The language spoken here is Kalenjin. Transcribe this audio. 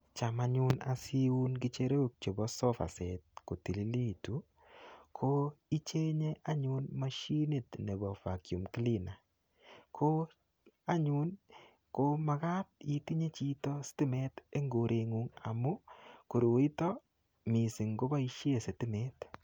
Cham nyun asiun ng'echerok chebo sofaset kotililitu, ko ichenye anyun mashinit nebo vacuum cleaner. Ko anyun, ko makat itinye chito sitimet eng koret ng'ung'. Amu koroito, missing koboisie sitimet.